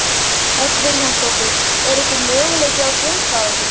Hödd Vilhjálmsdóttir: Er einhver möguleiki á að svindla á þessu?